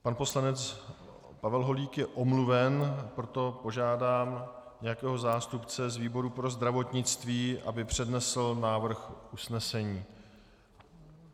Pan poslanec Pavel Holík je omluven, proto požádám nějakého zástupce z výboru pro zdravotnictví, aby přednesl návrh usnesení.